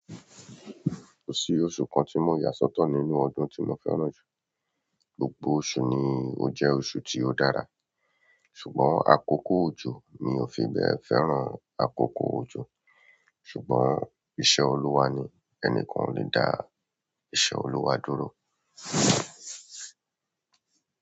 Kò sí oṣù kan tí mo yà sọ́tọ̀ nínú ọdún tí mo fẹ́ràn jù. Gbogbo oṣù ni ó jẹ́ oṣù tí ó dára. Ṣùgbọ́n, àkọ́kọ́ ojo mi òfi bẹ́ẹ̀ fẹ́ràn àkọ́kọ́ ojo. Ṣùgbọ́n, ìṣe Olúwa ni, ẹnikan ò lè dá ìṣe Olúwa dúró.